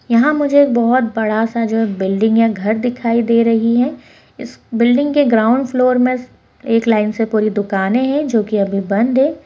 यहाँ पर मुझे बहुत बड़ा-सा जो है इस बिल्डिंग या घर दिखाई दे रही है बिल्डिंग के ग्राउंड फ्लोर में एक लाइन से पूरी दुकाने है जो की अभी बंद है।